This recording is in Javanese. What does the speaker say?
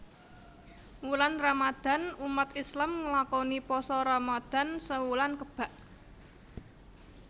Wulan Ramadan umat Islam nglakoni Pasa Ramadan sewulan kebak